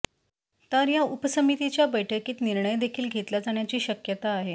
तर या उपसमितीच्या बैठकीत निर्णय देखील घेतला जाण्याची शक्यता आहे